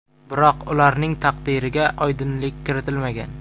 Biroq ularning taqdiriga oydinlik kiritilmagan.